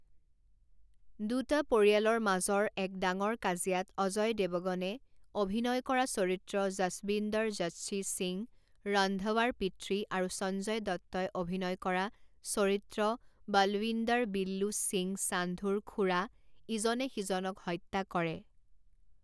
দুটা পৰিয়ালৰ মাজৰ এক ডাঙৰ কাজিয়াত অজয় দেৱগনে অভিনয় কৰা চৰিত্ৰ জচবিন্দৰ জচ্চি সিং ৰন্ধাৱাৰ পিতৃ আৰু সঞ্জয় দত্তই অভিনয় কৰা চৰিত্ৰ বলৱিন্দৰ বিল্লু সিং সান্ধুৰ খূড়া ইজনে সিজনক হত্যা কৰে।